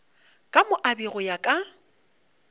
ka moabi go ya ka